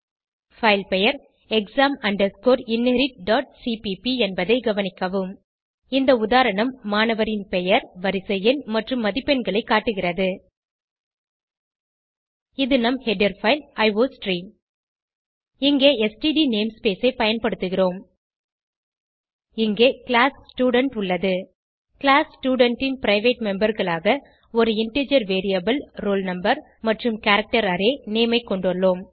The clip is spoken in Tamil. பைல் பெயர் exam inheritcpp என்பதை கவனிக்கவும் இந்த உதாரணம் மாணவரின் பெயர் வரிசை எண் மற்றும் மதிப்பெண்களை காட்டுகிறது இது நம் ஹெடர் பைல் அயோஸ்ட்ரீம் இங்கே ஸ்ட்ட் நேம்ஸ்பேஸ் ஐ பயன்படுத்துகிறோம் இங்கே கிளாஸ் ஸ்டூடென்ட் உள்ளது கிளாஸ் ஸ்டூடென்ட் ன் பிரைவேட் memberகளாக ஒரு இன்டிஜர் வேரியபிள் roll no மற்றும் கேரக்டர் அரே நேம் ஐ கொண்டுள்ளோம்